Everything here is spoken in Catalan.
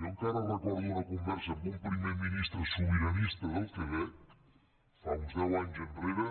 jo encara recordo una conversa amb un primer ministre sobiranista del quebec fa uns deus anys enrere